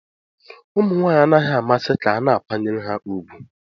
Ụmụ nwanyị anaghị amasị ka a na-akwanyere ha ùgwù.